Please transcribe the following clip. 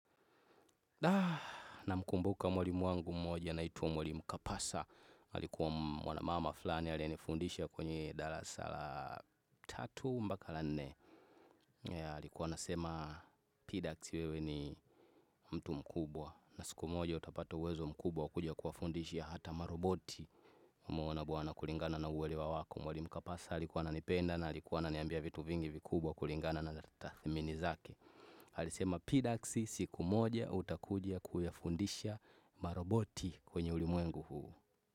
Namkumbuka mwalimu wangu moja anaitwa mwalimu Kapasa. Alikuwa mwana mama fulani aliyeniifundisha kwenye dalasa la tatu mpaka la nne. Alikuwa anasema Pidax wewe ni mtu mkubwa. Na siku moja utapata uwezo mkubwa wa kuja kuwafundisha hata maroboti. Nimeona bwana kulingana na uwelewa wako mwalimu Kapasa alikuwa ananipenda na alikuwa ananiambia vitu vingi vikubwa kulingana na tathmini zake. Alisema Pidaksi siku moja utakuja kuyafundisha maroboti kwenye ulimwengu huu.